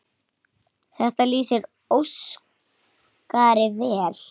Þetta lýsir Óskari vel.